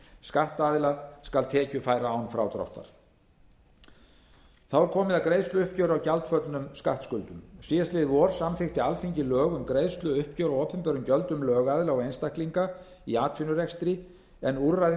skattaðila skal tekjufæra án frádráttar þá er komið að greiðsluuppgjöri á gjaldföllnum skattskuldum í fyrravor samþykkti alþingi lög um greiðsluuppgjör á opinberum gjöldum lögaðila og einstaklinga í atvinnurekstri en úrræðin